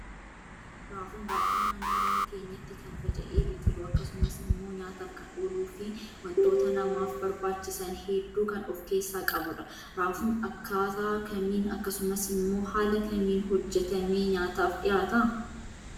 Raafuun baay'inan naannoo keenyatti kan faca'ee biqilu akkasumas immoo nyaataf kan ooluu fi waantota namaaf barbaachisan hedduu kan of keessaa qabudha. Raafun akkataa kamin akkasumas immoo haala kamiin hojjetamee nyaataaf dhiyaata?